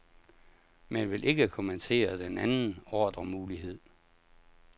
Men vil ikke kommentere den anden ordremulighed.